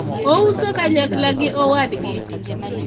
ouso kanyakla gi owadgi